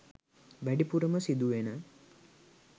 වැඩිපුරම සිදු වෙන